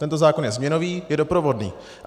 Tento zákon je změnový, je doprovodný.